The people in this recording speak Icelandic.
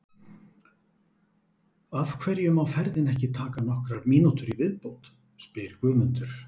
Af hverju má ferðin ekki taka nokkrar mínútur í viðbót? spyr Guðmundur.